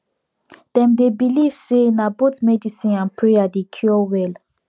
dem dey believe say na both medicine and prayer dey cure well